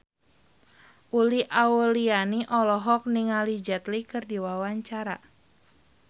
Uli Auliani olohok ningali Jet Li keur diwawancara